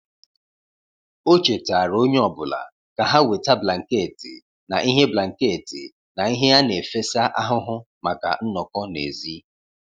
O chetaara onye ọ bụla ka ha weta blanketị na ihe blanketị na ihe ana-efesa ahụhụ maka nnọkọ n'èzí.